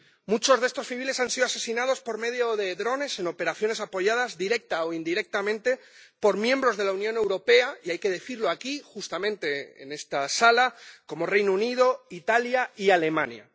Muchos de estos civiles han sido asesinados por medio de drones, en operaciones apoyadas directa o indirectamente por miembros de la Unión Europea —y hay que decirlo aquí, justamente en esta sala— como Reino Unido, Italia y Alemania.